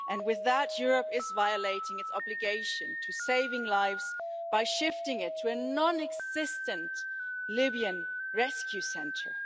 With that, Europe is violating its obligation to save lives by shifting it to a non existent Libyan rescue centre.